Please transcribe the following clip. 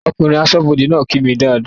Ọkùnrin aṣọ́bọdè náà kí mi dáadáa